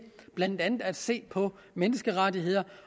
blandt andet at se på menneskerettigheder